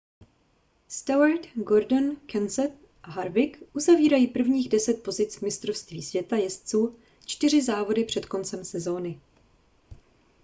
stewart gordon kenseth a harvick uzavírají prvních deset pozic v mistrovství světa jezdců čtyři závody před koncem sezóny